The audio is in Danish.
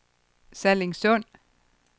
Sallingsund